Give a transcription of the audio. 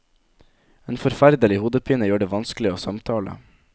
En forferdelig hodepine gjør det vanskelig å samtale.